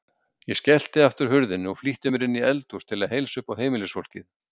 Ég skellti aftur hurðinni og flýtti mér inní eldhús til að heilsa uppá heimilisfólkið.